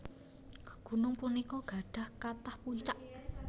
Gunung punika gadhah kathah puncak